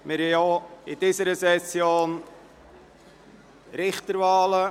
Wir haben auch in dieser Session Richterwahlen.